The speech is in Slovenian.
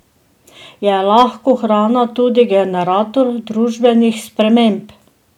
Je lahko hrana tudi generator družbenih sprememb?